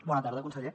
bona tarda conseller